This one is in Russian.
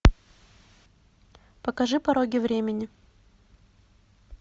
покажи пороги времени